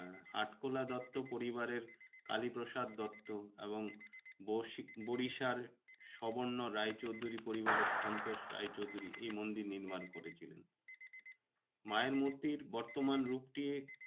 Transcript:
আটখোলা দত্ত পরিবারের কালীপ্রসাদ দত্ত এবং বরিশার সবর্ণ রায়চৌধুরী পরিবারের সন্তোষ রায়চৌধুরী এই মন্দির নির্মাণ করেছিলেন। মায়ের মূর্তির বর্তমান রূপটি